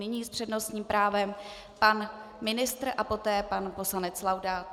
Nyní s přednostním právem pan ministr a poté pan poslanec Laudát.